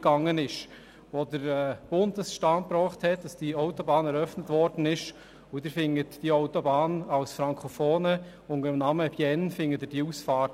Als Frankofoner finden Sie die entsprechenden Ausfahrten unter dem Namen «Bienne» nicht;